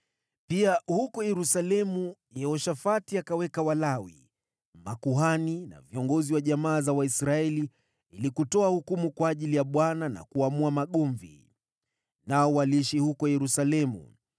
Pia huko Yerusalemu, Yehoshafati akaweka baadhi ya Walawi, makuhani na viongozi wa jamaa za Waisraeli ili kutoa hukumu kwa ajili ya Bwana na kuamua magomvi. Nao waliishi huko Yerusalemu.